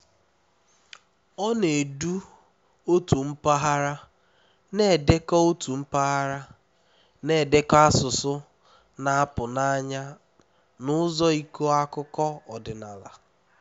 ọ na-edu otu mpaghara na-edekọ otu mpaghara na-edekọ asụsụ na-apụ n'anya na ụzọ ịkọ akụkọ ọdịnala